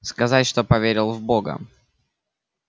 сказать что поверил в бога